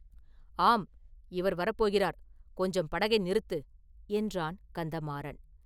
“ஆம்; இவர் வரப்போகிறார் கொஞ்சம் படகை நிறுத்து!” என்றான் கந்தமாறன்!